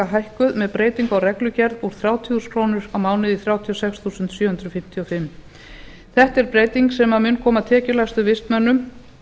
hækkuð með breytingu á reglugerð úr þrjátíu þúsund krónur á mánuði í þrjátíu og sex þúsund sjö hundruð fimmtíu og fimm krónum þetta er breyting sem mun koma tekjulægstu vistmönnum